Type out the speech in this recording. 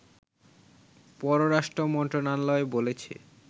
পররাষ্ট্র মন্ত্রণালয় বলেছে